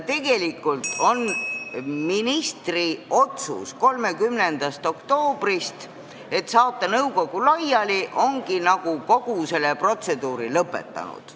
Tegelikult ongi ministri 30. oktoobri otsus saata nõukogu laiali kogu selle protseduuri lõpetanud.